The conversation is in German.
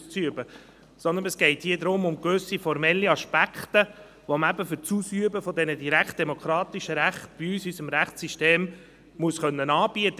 Vielmehr geht es um gewisse formelle Aspekte, die man für das Ausüben dieser direktdemokratischen Rechte in unserem Rechtssystem anbieten können muss.